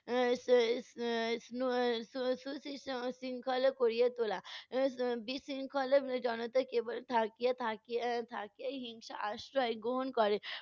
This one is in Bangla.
শৃঙ্খলা করিয়া তোলা। এর বিশৃঙ্খলার এর জনতাকে এর থাকিয়া থাকিয়া এর থাকিয়াই হিংসার আশ্রয় গ্রহণ করে।